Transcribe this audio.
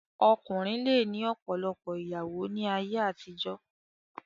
Ọkùnrin lè ní ọ̀pọ̀lọpọ̀ ìyàwó ní ayé àtijó.